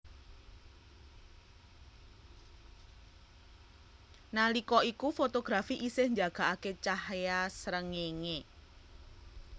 Nalika iku fotografi isih njagakake cahya srengenge